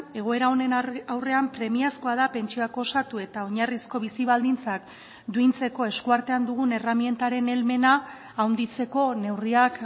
egoera honen aurrean premiazkoa da pentsioak osatu eta oinarrizko bizi baldintzak duintzeko eskuartean dugun erremintaren helmena handitzeko neurriak